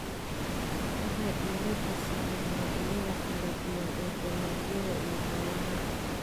waxay diiradda saaraan noocyada kala duwan ee dalagyada iyo xoolaha.